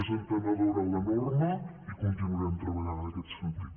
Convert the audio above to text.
més entenedora la norma i continuarem treballant en aquest sentit